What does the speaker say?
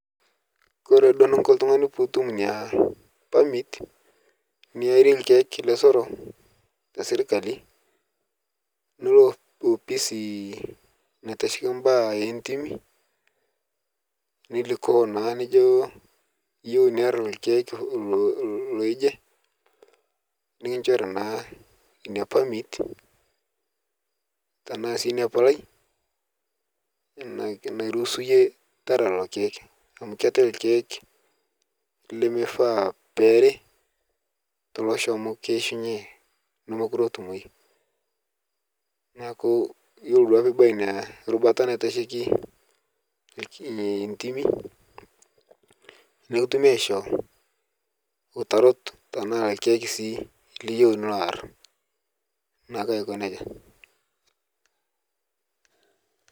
Kore doo niinko ltung'ani puu utuum nia permit niarie irkiek lesero te sirkali niloo opisii naitashekii baya e ntiimi nilikuoo naa nijoo iyeeu niarr irkiek loo ijee nikinchoori naa nia permit tana sii nia paalai nairuhusu eyee taara leloo irkiek, amu keetai irkiek lemefaa pee eeri tolosho, amu keishunyee nemekuroo etumooi. Naaku iyeloo duake pee epooi enia rubaata naiteshekii ee ntiimii nikituumi aishoo utaarut tana irkiek shii liiyeu linoo aarr, naaku aikoo nejaa.